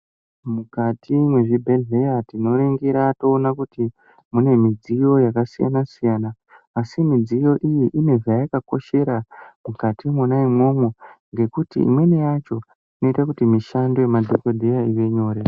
Mukati mwezvibhedhleya tinoringira toona kuti mune midziyo yakasiyana siyana asi midziyo iyi ine zvayakakoshera mukati mwona imwomwo ngekuti imweni yacho inoite kuti mishando yemadhokodheya ive nyore.